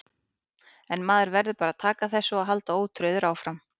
En maður verður bara að taka þessu og halda ótrauður áfram.